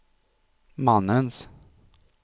mannens